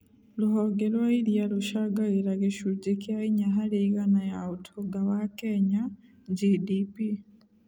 Rũhonge rwa iria rũcangagĩra gĩcunje kĩa inya harĩ igana ya ũtonga wa Kenya (GDP).